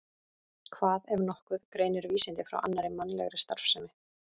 Hvað, ef nokkuð, greinir vísindi frá annarri mannlegri starfsemi?